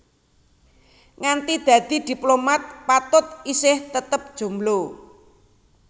Nganti dadi diplomat Patut isih tetep jomblo